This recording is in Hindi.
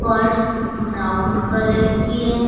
फर्श ब्राउन कलर की है।